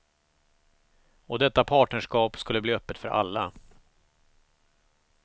Och detta partnerskap skulle bli öppet för alla.